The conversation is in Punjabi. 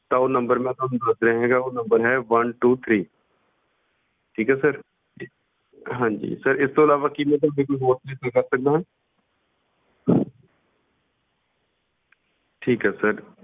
ਤਾਂ ਉਹ number ਮੈਂ ਤੁਹਾਨੂੰ ਦੱਸ ਰਿਹਾ ਹੈਗਾ ਉਹ number ਹੈ one two three ਠੀਕ ਹੈ sir ਹਾਂਜੀ sir ਇਸ ਤੋਂ ਇਲਾਵਾ ਕੀ ਮੈਂ ਤੁਹਾਡੀ ਕੋਈ ਹੋਰ ਸਹਾਇਤਾ ਕਰ ਸਕਦਾ ਹਾਂ ਠੀਕ ਹੈ sir